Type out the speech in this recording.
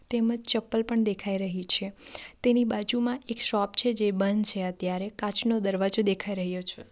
તેમજ ચપ્પલ પણ દેખાય રહી છે તેની બાજુમાં એક શોપ છે જે બંધ છે અત્યારે કાચનો દરવાજો દેખાય રહ્યો છે.